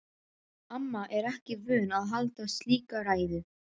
Amma er ekki vön að halda slíka ræðu.